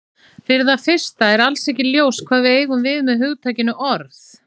Fyrir það fyrsta er alls ekki ljóst hvað við eigum við með hugtakinu orð.